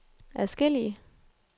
adskillige